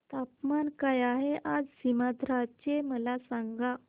तापमान काय आहे आज सीमांध्र चे मला सांगा